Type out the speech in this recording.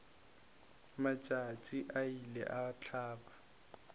matšatši a ile a hlaba